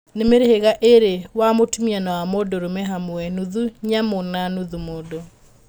Nĩ mĩhĩrĩga ĩrĩ wa mũtũmia na wa mũndũrũme hamwe, Nuthu nyamũ na nũthu mũndũ